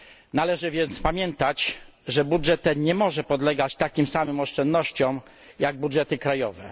Należy więc pamiętać, że budżet ten nie może podlegać takim samym oszczędnościom jak budżety krajowe.